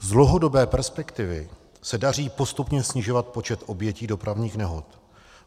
Z dlouhodobé perspektivy se daří postupně snižovat počet obětí dopravních nehod.